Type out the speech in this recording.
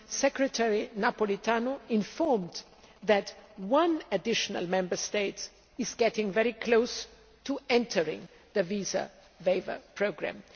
Secretary Napolitano informed us that one additional Member State is getting very close to entering the visa waiver programme.